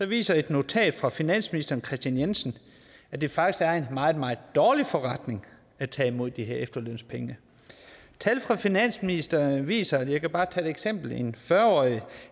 viser et notat fra finansministeren at det faktisk er en meget meget dårlig forretning at tage imod de her efterlønspenge tal fra finansministeriet viser og jeg kan bare tage et eksempel at en fyrre årig